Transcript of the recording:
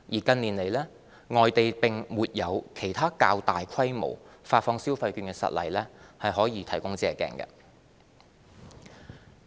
近年來，外地並沒有其他較大規模發放消費券的實例可供借鏡。